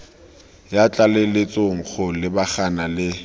ya tlaleletso go lebagana le